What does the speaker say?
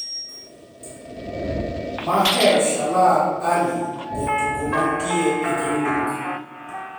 Mahershala Ali, jatugo mantie e Green Book